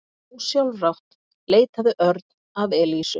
Ósjálfrátt leitaði Örn að Elísu.